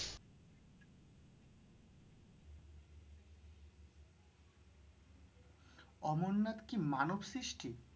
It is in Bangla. অমরনাথ কি মানবসৃষ্টি?